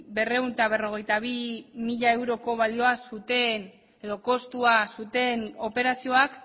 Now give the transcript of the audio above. berrehun eta berrogeita bi mila euroko balioa zuten edo kostua zuten operazioak